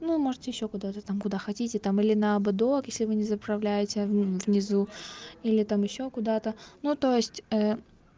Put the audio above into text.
ну можете ещё куда-то там куда хотите там или на ободок если вы не заправляете внизу или там ещё куда-то ну то есть